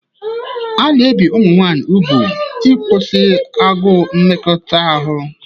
A na-ebi ụmụ nwanyị úgwù ịkwụsị agụụ mmekọahụ.